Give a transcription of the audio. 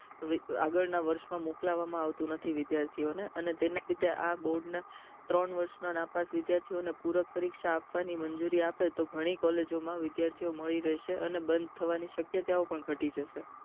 આગળ ના વર્ષ માં મોકલવાનું આવતું નથી વિદ્યાર્થીઓને અને તેમના લીધે આ બોર્ડ ના ત્રણ વર્ષ ના નાપાસ થયેલા વિદ્યાર્થીઓ પુરક પરીક્ષા આપવાની મંજુરી આપે તો ઘણી collage માં વિદ્યાર્થીઓ મળી રહેશે અને બંદ થવાની શક્યતા પણ ઘટી જશે